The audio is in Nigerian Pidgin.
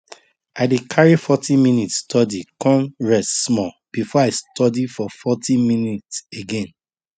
i dey carry forty minute study con rest small before i study for forty minute again